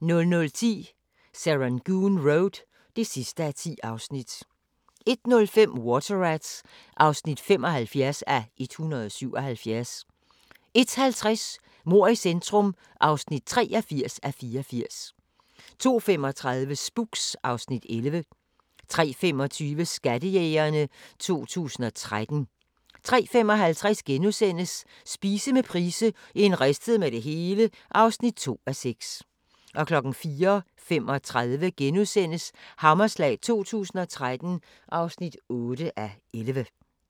00:10: Serangoon Road (10:10) 01:05: Water Rats (75:177) 01:50: Mord i centrum (83:84) 02:35: Spooks (Afs. 11) 03:25: Skattejægerne 2013 03:55: Spise med Price - en ristet med det hele (2:6)* 04:35: Hammerslag 2013 (8:11)*